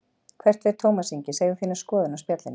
Hvert fer Tómas Ingi, segðu þína skoðun á Spjallinu